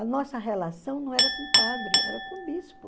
A nossa relação não era com o padre, era com o bispo.